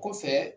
Kɔfɛ